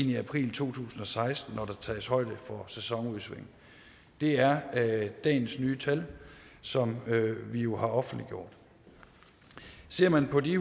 i april to tusind og seksten når der tages højde for sæsonudsving det er dagens nye tal som vi jo har offentliggjort ser man på de